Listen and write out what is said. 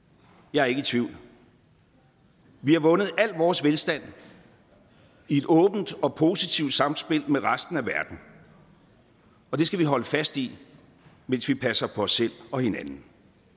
jeg er ikke i tvivl vi har vundet al vores velstand i et åbent og positivt samspil med resten af verden og det skal vi holde fast i mens vi passer på os selv og hinanden